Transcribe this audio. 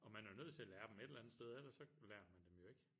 Og man er jo nødt til at lære dem et eller andet sted ellers så lærer man dem jo ikke